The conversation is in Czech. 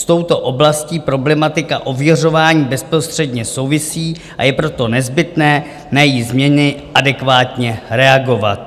S touto oblastí problematika ověřování bezprostředně souvisí, a je proto nezbytné na její změny adekvátně reagovat.